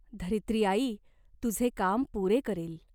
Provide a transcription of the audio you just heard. धरित्रीआई तुझे काम पुरे करील.